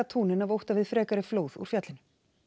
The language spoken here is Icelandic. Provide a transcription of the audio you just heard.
túnin af ótta við frekari flóð úr fjallinu